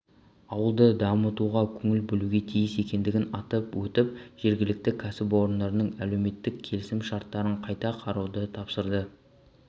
ауылды дамытуға көңіл бөлуге тиіс екендігін атап өтіп жергілікті кәсіпорындардың әлеуметтік келісімшарттарын қайта қарауды тапсырды